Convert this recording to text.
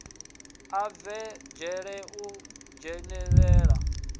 a bve dzhele u dzhenelela